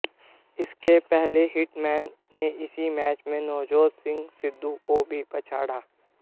इसके पहले हिटमैन ने इसी मैच में नवजोत सिंह सिद्धू को भी पछाड़ा